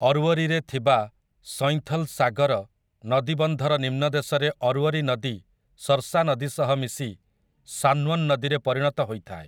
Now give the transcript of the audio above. ଅର୍ୱରୀରେ ଥିବା ସୈଁଥଲ୍ ସାଗର ନଦୀବନ୍ଧର ନିମ୍ନଦେଶରେ ଅର୍ୱରୀ ନଦୀ ସର୍ସା ନଦୀ ସହ ମିଶି ସାନ୍ୱନ୍ ନଦୀରେ ପରିଣତ ହୋଇଥାଏ ।